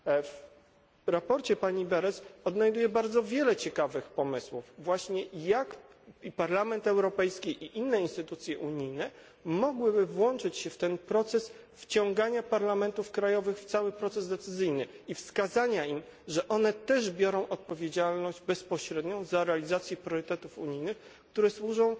W sprawozdaniu pani Berès odnajduję bardzo wiele ciekawych pomysłów, właśnie na temat, jak Parlament Europejski i inne instytucje unijne mogłyby włączyć się w proces wciągania parlamentów krajowych w cały proces decyzyjny i wskazania im, że one też biorą bezpośrednią odpowiedzialność za realizację priorytetów unijnych, które służą